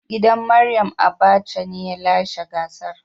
Gidan Mariam Abacha ne ya lashe gasar.